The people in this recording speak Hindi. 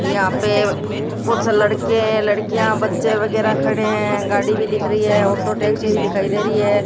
यहां पे कुछ लड़के हैं लड़कियां बच्चे वगैरह खड़े हैं गाड़ी भी दिख रही है ऑटो टैक्सी भी दिखाई दे रही है।